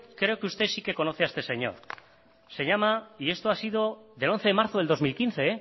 creo que usted sí que conoce a este señor se llama y esto ha sido del once de marzo del dos mil quince